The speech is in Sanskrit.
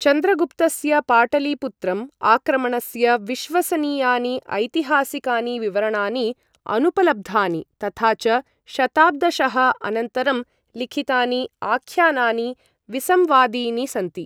चन्द्रगुप्तस्य पाटलिपुत्रम् आक्रमणस्य विश्वसनीयानि ऐतिहासिकानि विवरणानि अनुपलब्धानि तथा च शताब्दशः अनन्तरं लिखितानि आख्यानानि विसंवादीनि सन्ति।